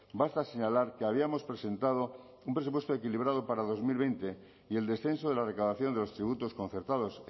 basta señalar que habíamos presentado un presupuesto equilibrado para dos mil veinte y el descenso de la recaudación de los tributos concertados